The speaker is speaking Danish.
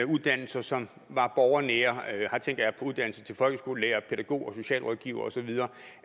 uddannelser som var borgernære her tænker jeg på uddannelse til folkeskolelærer pædagog socialrådgiver og så videre